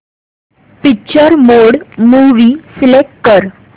picture mode movie select कर